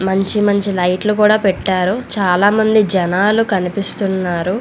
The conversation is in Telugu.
మంచి మంచి లైట్లు కూడా పెట్టారు చాల మంది జనాలు కనిపిస్తున్నారు.